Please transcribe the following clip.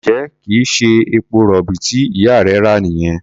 Ǹjẹ́ kì í ṣe epo-rọ̀bì tí ìyá rẹ rà nìyẹn?